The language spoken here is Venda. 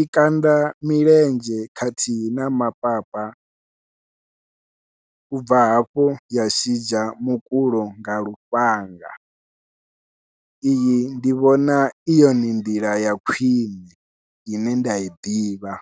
i kanda milenzhe khathihi na mapapa u bva hafho ya shidzha mukulo nga lufhanga, iyi ndi vhona i yone nḓila ya khwiṋe ine nda i ḓivha.